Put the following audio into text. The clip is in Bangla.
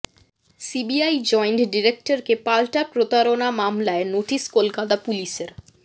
সিবিআই জয়েন্ট ডিরেক্টরকে পালটা প্রতারণা মামলায় নোটিস কলকাতা পুলিসের